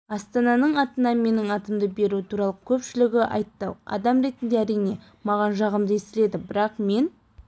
астананың атына менің атымды беру туралы көпшілігі айтты адам ретінде әрине маған жағымды естіледі бірақ мен